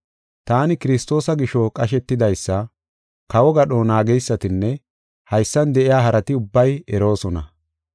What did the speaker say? Taani Kiristoosa gisho qashetidaysa, kawo gadho naageysatinne haysan de7iya harati ubbay eroosona.